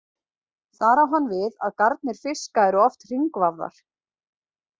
Þar á hann við að garnir fiska eru oft hringvafðar.